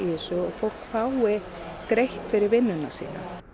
fólk fái greitt fyrir vinnuna sína